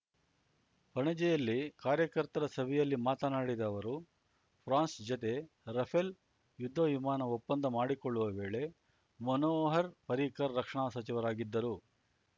ಪಣಜಿಯಲ್ಲಿ ಕಾರ್ಯಕರ್ತರ ಸಭೆಯಲ್ಲಿ ಮಾತನಾಡಿದ ಅವರು ಫ್ರಾನ್ಸ್ ಜತೆ ರಫೆಲ್ ಯುದ್ಧ ವಿಮಾನ ಒಪ್ಪಂದ ಮಾಡಿಕೊಳ್ಳುವ ವೇಳೆ ಮನೋಹರ್ ಪರಿಕ್ಕರ್ ರಕ್ಷಣಾ ಸಚಿವರಾಗಿದ್ದರು